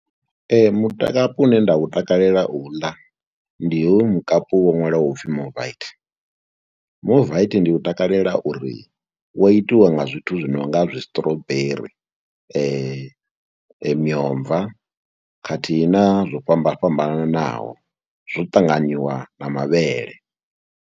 Mutakapu une nda u takalela u u ḽa ndi hoyu mukapu wo ṅwalwaho u pfhi Movite. Movite ndi u takalela uri wo itiwa nga zwithu zwi no nga zwistrawberry, miomva khathihi na zwo fhambana fhambanaho zwo ṱanganyiwa na mavhele.